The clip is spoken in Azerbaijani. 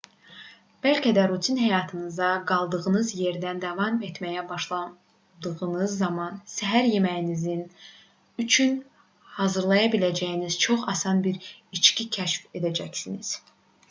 bəlkə də rutin həyatınıza qaldığınız yerdən davam etməyə başladığınız zaman səhər yeməyiniz üçün hazırlaya biləcəyiniz çox asan bir içki kəşf edəcəksiniz